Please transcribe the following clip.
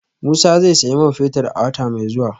Musa zai sayi man fetir a wata mai zuwa